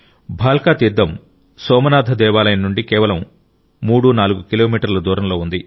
భాల్కా తీర్థం సోమనాథ దేవాలయం నుండి కేవలం 34 కిలోమీటర్ల దూరంలో ఉంది